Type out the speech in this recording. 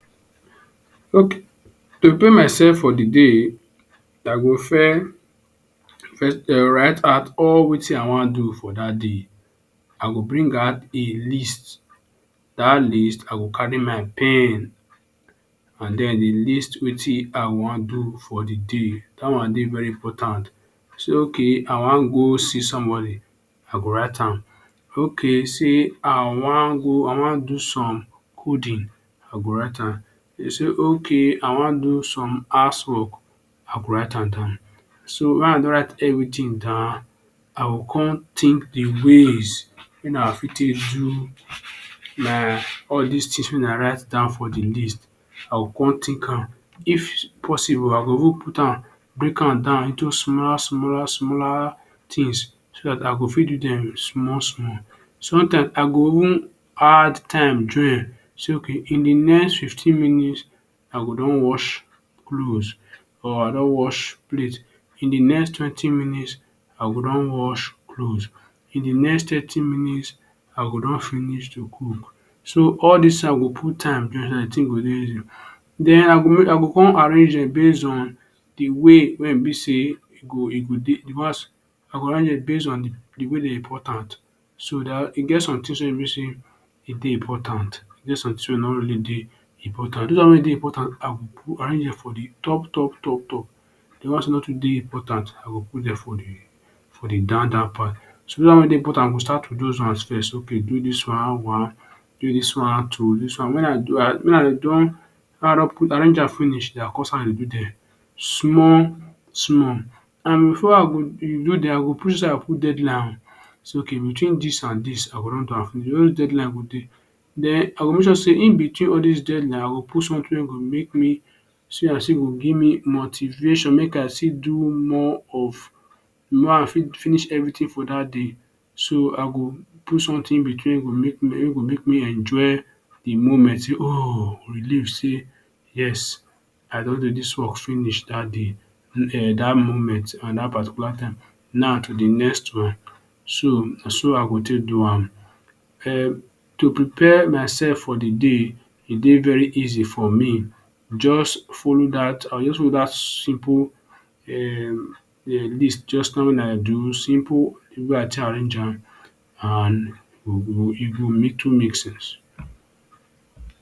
To prepare myself for de day, I go? first um write out all wetin I wan do for dat day. I go bring out a list, dat list I go carry my pen and den dey list wetin I wan do for de day. Dat one dey very important. Say “okay I wan go see somebody”, I go write am. Okay say, “I wan go I wan do some coding”, I go write am. “Okay I wan do some housework”, I go write am down. So wen I don write everything down, I go come think de ways wey I fit take do my all dis things wey I don write down for de list. I go come think am if possible I go even put am, break am down into small small smaller things so dat I go fit do dem small small. Sometimes, I go even add time join say, “okay, in de next fifteen minutes I go don wash clothes or don wash plate”, “in de next twenty minutes I go don wash clothes, in de next thirty minutes I go don finish to cook”. So all dis I go put time join Den I go I go come arrange am base on de way wey e be sey e go e go dey because base on dey way dey important. So dat e get somethings wey be sey e dey important, e get somethings wey e no really dey important. Dis one wey e dey important I go put am arrange am for de top top top, de ones wey no too dey important I go put dem for de for de down down down part. So dat one wey dey important I go start with dat one first ”okay do dis one, one” “do dis one, two” arrange am finish, den I come I dey do am small small and before I go dem, I go make sure sey I put deadline, say ”okay between dis and dis, I go don I go don do am finish” Den I go make sure dey in-between all dis deadline, I go put something wey go make me see as if e go give me motivation make I see do more of make I fit finish everything for dat day. So I go put something in-between make me enjoy de moment say ooh relieve say, yes I don do dis work finish dat day, dat moment and dat particular time, now to de next one. So na so I go take do am. Um to prepare myself for de day, e dey very easy for me just follow dat I go just follow dat simple um list. Just dat one wey I do simple way I take arrange am and e go e go little make sense.